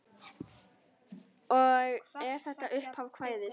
Og er þetta upphaf kvæðis